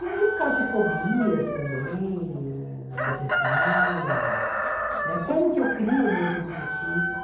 E aí por causa de fobias também, depressão, né como que eu crio meus objetivos?